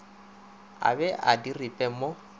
a be a diripe mo